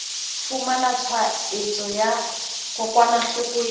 fumana tshwaetso ya kokwanahloko ya